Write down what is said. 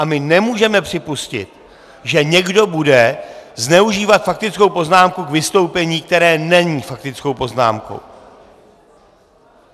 A my nemůžeme připustit, že někdo bude zneužívat faktickou poznámku k vystoupení, které není faktickou poznámkou.